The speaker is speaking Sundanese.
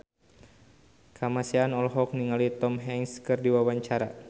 Kamasean olohok ningali Tom Hanks keur diwawancara